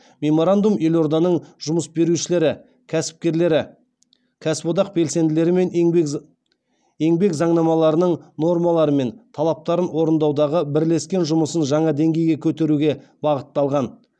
мемормандум елорданың жұмыс берушілері кәсіпкерлері кәсіподақ белсенділерімен еңбек заңнамаларының нормалары мен талаптарын орындаудағы бірлескен жұмысын жаңа деңгейге көтеруге бағытталған